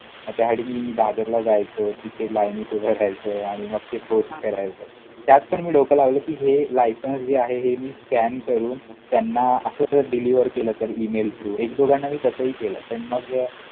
मग त्यासाठी मी दादरला जायचो, तिथे LINE त उभा राहायचो. आणि मग ते हां पोस्ट करायचो. त्यात पण मी डोकं लावलं कि, हे licence जे आहे, हे मी scan करून त्यांना असंच deliver केलं तर, email through! एक दोघांना मी तसंही केलं. पण मग